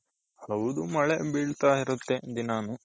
ಹೌದು ಮಳೆ ಬೀಳ್ತಾ ಇರುತ್ತೆ ದಿನಾನು.